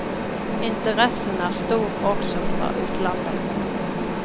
Interessen er stor også fra utlandet.